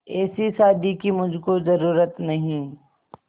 ऐसी शादी की मुझको जरूरत नहीं